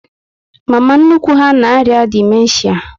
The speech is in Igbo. Mama nnukwu ha na arịa dimenshia